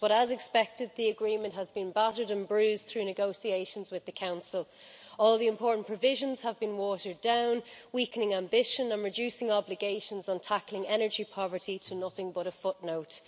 But, as expected, the agreement has been battered and bruised through negotiations with the Council, all the important provisions have been watered down, weakening ambition and reducing obligations on tackling energy poverty to nothing but a footnote.